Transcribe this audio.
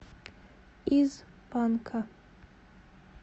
из панка